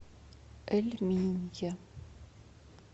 эль минья